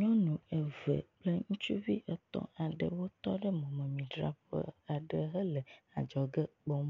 Nyɔnu eve kple ŋutsuvi etɔ̃ aɖewo tɔ ɖe mɔmemidzraƒe aɖe hele adzɔge kpɔm,